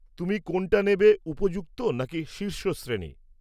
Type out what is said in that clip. তুমি কোনটা নেবে, উপযুক্ত নাকি শীর্ষ শ্রেণী?